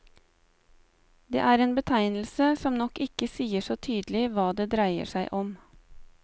Det er en betegnelse som nok ikke sier så tydelig hva det dreier seg om.